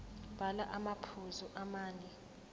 bhala amaphuzu amane